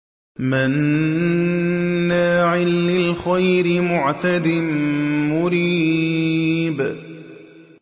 مَّنَّاعٍ لِّلْخَيْرِ مُعْتَدٍ مُّرِيبٍ